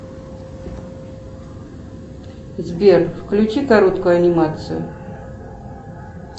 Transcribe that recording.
сбер включи короткую анимацию